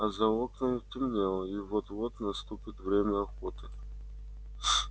а за окнами темнело и вот-вот наступит время охоты